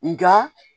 Nga